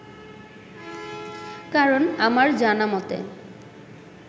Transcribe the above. কারণ, আমার জানামতে